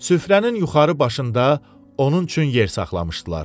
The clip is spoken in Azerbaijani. Süfrənin yuxarı başında onun üçün yer saxlamışdılar.